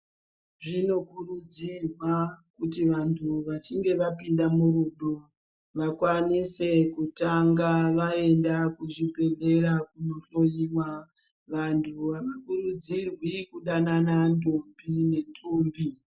Zvinokurudzirwa kuti vantu vachinge vapinda murudo vakwanise kutanga vaenda kuzvibhedhlera kunohloiwa. Vantu havakurudzirwi kudanana ndombi nendombi.